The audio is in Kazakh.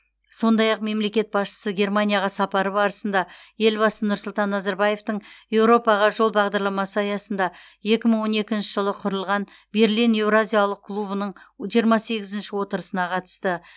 сондай ақ мемлекет басшысы германияға сапары барысында елбасы нұрсұлтан назарбаевтың еуропаға жол бағдарламасы аясында екі мың он екінші жылы құрылған берлин еуразиялық клубының жиырма сегізінші отырысына қатысты